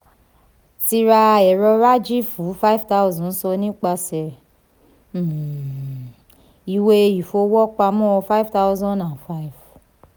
ti ra ẹ̀rọ rájì fún five thousand san nípasẹ̀ um ìwé ìfowópamọ́ five thousand and five.